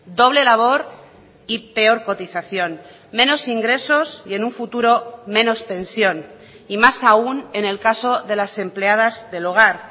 doble labor y peor cotización menos ingresos y en un futuro menos pensión y más aún en el caso de las empleadas del hogar